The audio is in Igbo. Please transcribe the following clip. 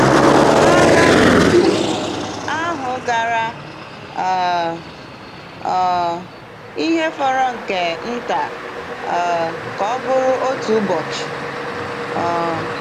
Agha ahụ gara um um ihe fọrọ nke nta um ka ọ bụrụ otu ụbọchị. um